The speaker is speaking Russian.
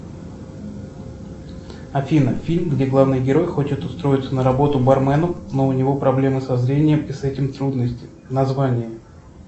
афина фильм где главный герой хочет устроиться на работу барменом но у него проблемы со зрением и с этим трудности название